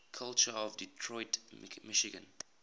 culture of detroit michigan